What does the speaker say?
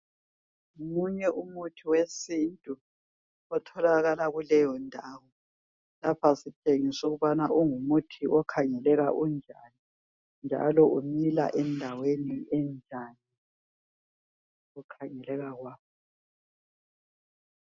Ngomunye umuthi wesintu otholakala kuleyo ndawo lapha sitshengiswa ukuthi ungumuthi okhangeleka unjani njalo umila endaweni enjani ngokukhangeleka kwawo.